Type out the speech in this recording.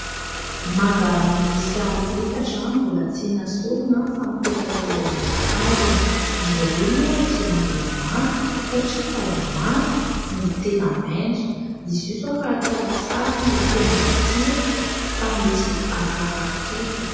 Maga miisa efatra, mbola tsy nesorina fa mipetaka eo amin'ny hazony. Izy ireo moa dia mbola manta, satria sady mafy no tena maitso. Izy io izao raha atao lasary no tena matsiro, fa mety hankarary kibo.